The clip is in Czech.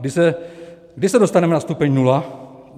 Kdy se dostaneme na stupeň nula?